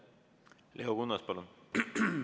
Leo Kunnas, palun!